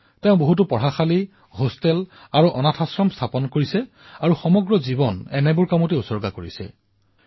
তেওঁ বহু বিদ্যালয় হোষ্টেল আৰু অনাথালয় নিৰ্মাণ কৰিছিল আৰু জীৱন পৰ্যন্ত সেই অভিযানতেই জড়িত হৈ আছিল